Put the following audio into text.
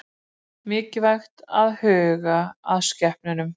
Mikilvægt að huga að skepnunum